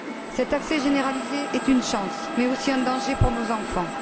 Cet accès généralisé est une chance, mais aussi un danger pour nos enfants.